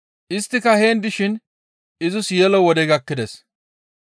Isttika heen dishin izis yelo wodey gakkides.